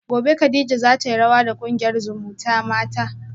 gobe kadija zatayi rawa da kungiyar zumutamata